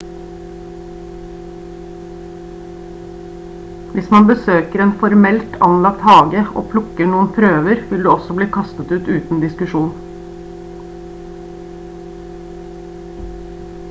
hvis man besøker en formelt anlagt hage og plukker noen «prøver» vil du også bli kastet ut uten diskusjon